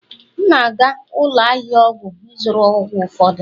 M na-aga ụlọ ahịa ọgwụ ịzụrụ ọgwụ ụfọdụ.